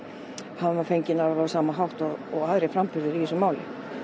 hann var fenginn á alveg sama hátt og aðrir framburðir í þessu máli